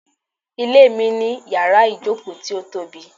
Ilé mi ní yàrá-ìjòkó ti o tobi